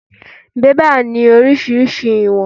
Bẹ́bà ni oríṣiríṣi ìwọ̀n.